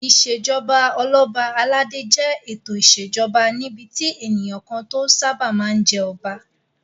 Ìṣèjoba Ọlọ́ba aládé jẹ́ ètò ìṣèjoba níbi tí ènìyàn kan tó sáábà máa ń jẹ́ Ọba